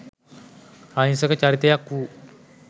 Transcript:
අහිංසක චරිතයක් වූ